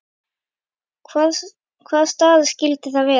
Hvaða staða skyldi það vera?